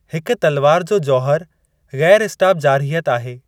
हिक तलवार जो जौहर ग़ैरु स्टाप जारहियत आहे।